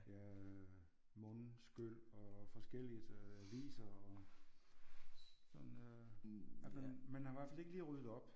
Ja øh mundskyl og forskelligt aviser og sådan øh at man man har i hvert fald ikke lige ryddet op